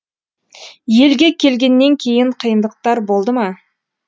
елге келгеннен кейін қиындықтар болды ма